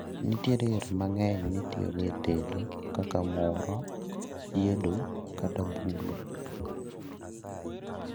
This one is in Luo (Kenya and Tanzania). nitiere yore mang'eny mitiyogo e tedo kaka muro, chiedo kata bulo